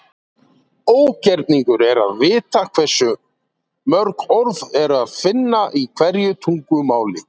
ógerningur er að vita hversu mörg orð er að finna í hverju tungumáli